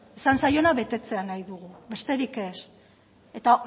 esan zaiona betetzea nahi dugu besterik ez eta